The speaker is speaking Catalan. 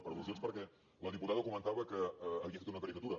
per al·lusions perquè la diputada comentava que havia fet una caricatura